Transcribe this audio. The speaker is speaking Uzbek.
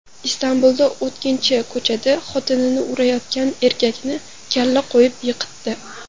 Istanbulda o‘tkinchi ko‘chada xotinini urayotgan erkakni kalla qo‘yib yiqitdi.